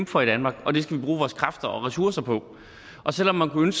for i danmark og det skal vi bruge vores kræfter og ressourcer på selv om man kunne